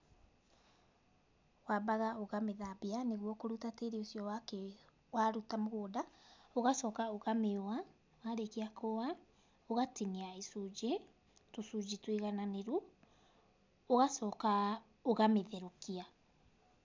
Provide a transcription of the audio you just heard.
Wambaga ũkamĩthambia nĩguo kũruta tĩĩri wakĩ waruta mũgũnda, ũgacoka ũkamĩũa, warĩkia kũũa ũgatinia icunjĩ, tũcunjĩ tũigananĩru, ũgacoka ũkamĩtherũkia.